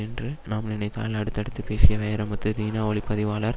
என்று நாம் நினைத்தால் அடுத்தடுத்து பேசிய வைரமுத்து தினா ஒளி பதிவாளர்